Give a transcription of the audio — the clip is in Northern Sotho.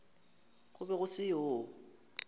go be go se yoo